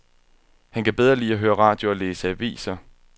Han kan bedre lide at høre radio og læse aviser.